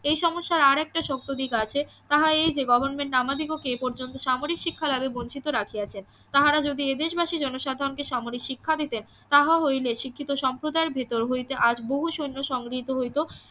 এই সমস্যার আর একটা শক্ত দিক আছে তাহা এই যে গভর্নমেন্ট আমাদিগকে পর্যন্ত সামরিক শিক্ষালাভে বঞ্চিত রাখিয়াছে তাহারা যদি এ দেশবাসি জনসাধারণকে সামরিক শিক্ষা দিতেন তাহা হইলে শিক্ষিত সম্প্রদায় ভেতর হইতে আজ বহু সৈন্য সংগৃহীত হইত